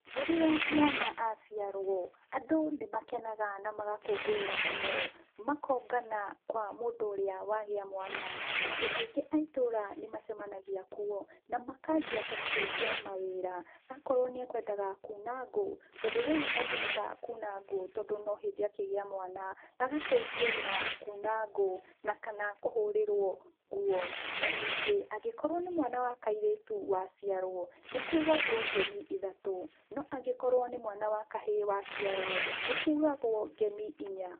Rĩrĩa mwana aciarwo, andũ nĩmakenaga na magakũngũĩra mũno, makongana kwa mũndũ ũrĩa wagĩa mwana. Andũ aingĩ a ĩtũra nĩmacemanagia kuo, na makanjia kũmũteithia wĩra na akorwo nĩekwendaga kuuna ngũ, tondũ rĩu ndangĩhota kuna ngũ, tondũ no hĩndĩ akĩgĩa mwana, agateithio na kuna ngũ, na kana kũhũrĩrwo nguo. Na ningĩ angĩkorwo nĩ mwana wa kairitu waciarwo, nĩkugagwo ngemi ithatu no angĩkorwo nĩ mwana wa kahĩ waciarwo nĩkũgagwo ngemi inya.